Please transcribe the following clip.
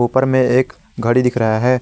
ऊपर में एक घड़ी दिख रहा है।